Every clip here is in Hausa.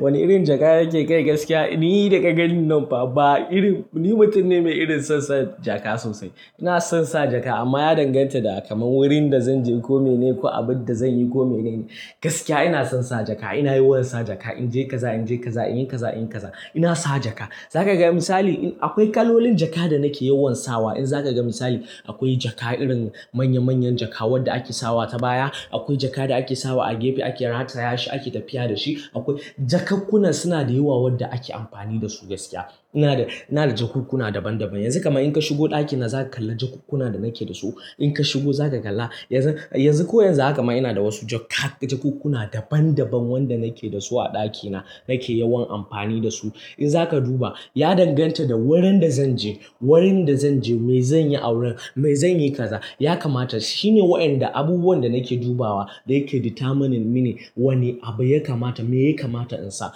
Wane irin jaka yake kai gaskiya? Ni daga gani nan, fa ba irin ni mutum ne mai son sa jaka sosai. Ina son sa jakka amma ya danganta da kamar wurin da zanje ko mene ko abin da zanyi ko mene ne. Gaskiya ina son sa jakka, ina yawan sa jakka. Inje kaza, inje kaza, inyi kaza, inyi kaza, ina sa jakka. Zakaga misali akwai kalolin jakka da nake yawan sawa. In zaka ga misali akwai jakka irin manya-manyan jakka wanda ake sawa ta baya. Akwai jaka da ake sawa a gefe ake rataya shi ake tafiya da shi. Jakakkuna suna da yawa wadanda ake amfani dasu gaskiya. Ina da jakunkuna daban daban. Yanzu kam in ka shigo ɗakina zaka kalla jakunkuna da nake dasu. In ka shigo zaka kalla. Yanzu ko yanzu haka ma ina da wasu jakka jakakkuna daban daban wanda nake dasu a ɗakina nake yawan amfani dasu. In zaka duba ya danganta da wurin da zanje wurin da zanje, me zanyi a wurin, me zanyi kaza. Ya kamata shine waɗanda abubuwan da nake dubawa ne ke determining mini wane abu ya kamata, me ya kamata in sa.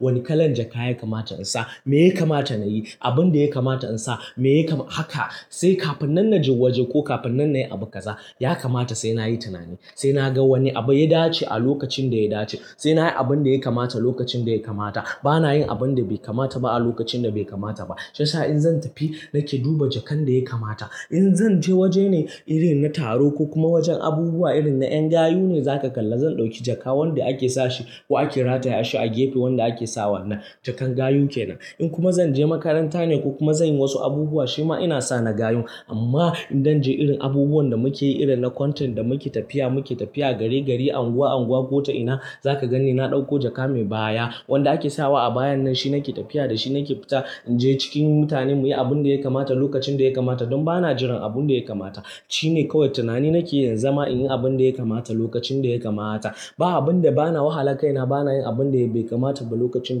Wane kalan jakka ya kamata in sa. Me ya kamata nayi. Abin da ya kamata in sa. Haka sai kafin nan na je waje ko kafin nan nayi abu kaza. Ya kamata sai nayi tunani. Sai na ga wane abu ya dace a lokacin da ya dace. Sai nayi abin da ya kamata lokacin da ya kamata. Bana yin abin da bai kamata ba a lokacin da bai kamata ba. Shiyasa in zan tafi nake duba jakkan da ya kamata. In zan je waje ne irin na taro ko kuma wajen abubuwa irin na ƴan gayu ne, zaka kalla zan ɗauki jakka wanda ake sashi ko ake rataya shi a gefe wanda ake sawan nan. Jakan gayu kenan. In kuma zan je makaranta ne ko kuma zanyi wasu abubuwa, shi ma ina sa na gayun. Amma idan je irin abubuwan da muke yi irin na content da muke tafiya, muke tafiya gari gari, unguwa unguwa ko ta ina, za ka gani na ɗauko jaka mai baya wanda ake sawa a bayan nan. Shi nake tafiya da shi nake fita inje cikin mutane muyi abin da ya kamata lokacin da ya kamata. Don bana jiran abin da ya kamata. Shine kawai tunani nake yin zama in yi abin da ya kamata lokacin da ya kamata. Ba abin da bana wahala kai na bana yin abin da bai kamata ba lokacin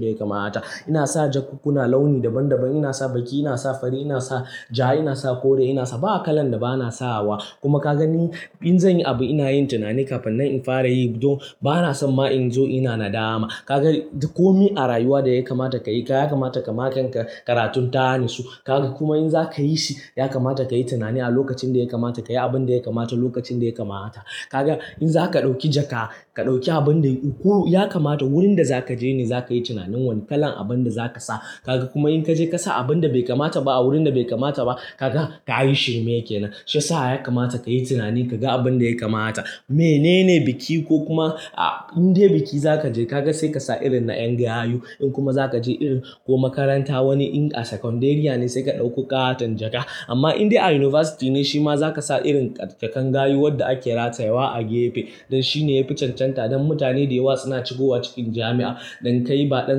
daya kamata. Ina sa jakunkuna launi daban daban. Ina sa baƙi, ina sa fari, ina sa ja, ina sa kore, ina sa ba kalan da bana sawa. Kuma ka gani in zanyi abu ina yin tunani kafin nan in fara yi. Don bana son ma in zo ina na dama. Ka ga duk komi a rayuwa daya kamata kayi. Ya kamata kama kanka karatun ta natsu. Kuma in zakayi shi ya kamata kayi tunani a lokacin da ya kamata kayi abin da ya kamata lokacin da ya kamata. Ka ga in zaka ɗauki jaka ka ɗauki abun da ukulu. Ya kamata wurin da zaka je ne zakayi tunanin wane kalan abun da zaka sa. Kuma in kaje ka sa abun da bai kamata ba a wurin da bai kamata ba, ka ga ka yi shirme kenan. Shiyasa ya kamata kayi tunani ka ga abin da ya kamata. Menene biki ko kuma indai biki zaka je ka ga sai ka sa irin na ƴan gayu. Kokuma zaka je irin ko makaranta wani in a sakandariya ne sai ka ɗauki ƙaton jakka. Amma inda a University ne shi ma za ka sa irin jakkan gayu wadda ake ratayawa a gefe. Don shine yafi cancanta don mutane da yawa suna shigowa cikin jami'a. Don kai ba ɗan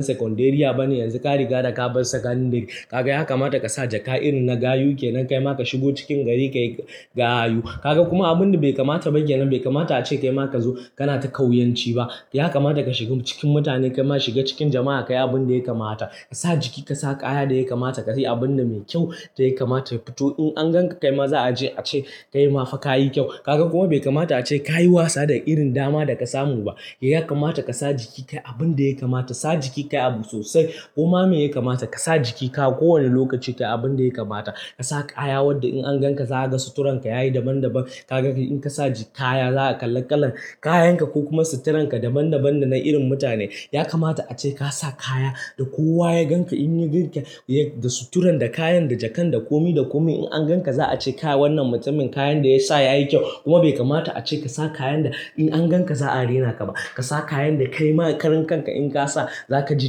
sakandariya ba ne yanzu ka riga da ka bar sakandari. Ka ga ya kamata ka sa jaka irin na gayu kenan. Kai ma ka shigo cikin gari kayi gayu. Ka ga kuma abin da bai kamata ba kenan bai kamata a ce kai ma ka zo kana ta ƙauyanci ba. Ya kamata ka shiga cikin mutane kai ma shiga cikin jama'a kayi abin da ya kamata. Ka sa jiki ka sa kaya da ya kamata. Ka sayi abun da mai kyau da ya kamata ya fito. In an gan ka kai ma za a je a ce kayi ma faka yayi kyau. Kuma bai kamata a ce kayi wasa da irin dama da ka samu ba. Ya kamata ka sa jiki kayi abunda ya kamata. Sa jiki kayi abu sosai. Koma me ya kamata? Ka sa jikin ka kowane lokaci kayi abun da ya kamata. Ka sa kaya wanda in an gan ka za a ga suturan ka yayi daban daban. Ka ga in ka sa kaya za a kalla kalan kayan ka ko kuma suturan ka daban daban dana irin mutane. Ya kamata a ce ka sa kaya da kowa ya gan ka in ya ganka da sutura, da kayan, da jakan, da komi da komi. In an gan ka za a ce wannan mutumin kayan da ya sa yayi kyau. Kuma bai kamata a ce ka sa kayan da in an gan ka za a rena ka ba. Ka sa kayan da kai ma karan kan ka in ka sa za ka ji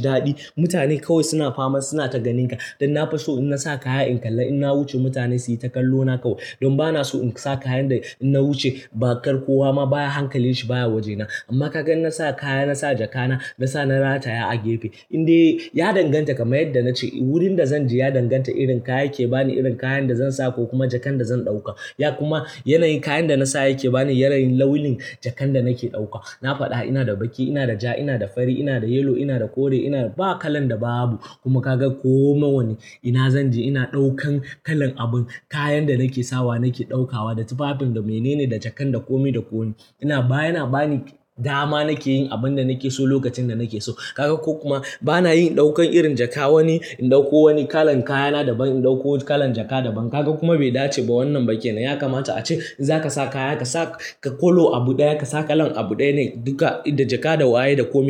daɗi. Mutane kawai suna fama suna ta ganin ka. Don nafiso in na sa kaya in kalla in na wuce mutane su yi ta kallo na kawai. Don ba na so in sa kayan da in na wuce ba kar kowa ma baya hankalin shi baya waje na. Amma ka ga in na sa kaya, na sa jaka na, na sa na rataya a gefe. Inde ya danganta kamar yadda na ce wurin da zanje ya danganta irin kaya yake bani, irin kayan da zan sa ko kuma jakan da zan ɗauka. Ya kuma yanayin kayan da na sa yake bani yanayin launin jakan da nake ɗauka. Na faɗa ina da baƙi, ina da ja, ina da fari, ina da yellow, ina da kore, ina da ba kalan da babu. Kuma ka ga ko mawane ina zan je ina ɗaukan kalan abun kayan da nake sawa nake ɗaukawa da tufafin da mene ne da jakan da kome da kome. Ina baya na bani dama nake yin abin da nake so lokacin da nake so. Ka ga ko kuma bana yin ɗaukan irin jaka wani in ɗauko wani kalan kayana daban in ɗauko kalan jaka daban. Kuma bai dace ba wannan ba kenan. Ya kamata a ce in zaka sa kaya ka sa ka color abu ɗaya. Ka sa kalan abu ɗaya ne duka da jaka da waye da komi.